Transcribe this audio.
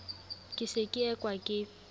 ke se ke ekwa ke